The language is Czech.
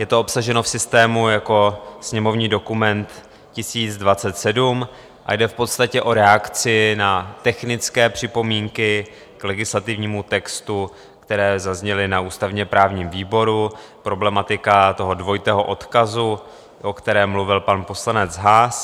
Je to obsaženo v systému jako sněmovní dokument 1027 a jde v podstatě o reakci na technické připomínky k legislativnímu textu, které zazněly na ústavně-právním výboru, problematika toho dvojitého odkazu, o kterém mluvil pan poslanec Haas.